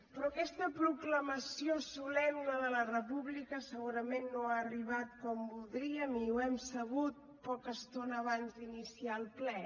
però aquesta proclamació solemne de la república segurament no ha arribat com voldríem i ho hem sabut poca estona abans d’iniciar el ple